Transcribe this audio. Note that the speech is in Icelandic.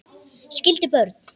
Skildi börn.